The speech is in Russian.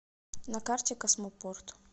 на карте космопорт